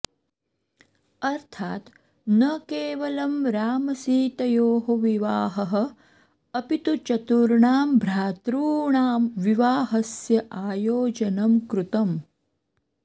अर्थात् न केवलं रामसीतयोः विवाहः अपि तु चतुर्णां भ्रातॄणां विवाहस्य आयोजनं कृतम्